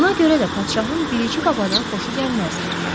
Buna görə də padşahın bilici babadan xoşu gəlməzdi.